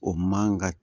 O man ka